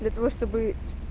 для того чтобы